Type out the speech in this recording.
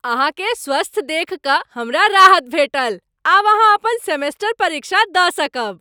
अहाँक स्वस्थ देखि कऽ हमरा राहत भेटल आब अहाँ अपन सेमेस्टर परीक्षा दऽ सकब।